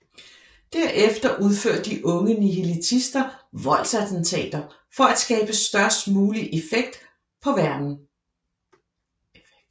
Derefter udfører de unge nihilistister voldsattentater for at skabe størst mulig affekt på verden